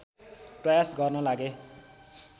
प्रयास गर्न लागे